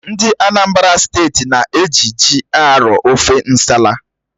Ndị Anambra Steeti na-eji ji arọ ofe nsala